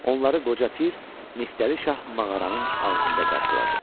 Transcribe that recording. Onları qoca pir Niftəli şah mağaranın ağzında qarşıladı.